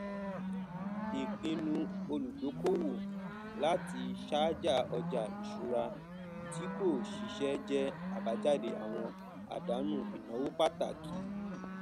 ìpinnu olùdókòowó láti ṣàjà ọja iṣùrà tí kò ṣiṣẹ jẹ abájáde àwọn àdánù ìnáwó pàtàkì